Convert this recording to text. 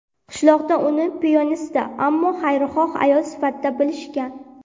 Qishloqda uni piyonista, ammo xayrixoh ayol sifatida bilishgan.